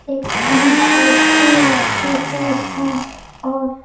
एक बाल्टी रखी हुई है और--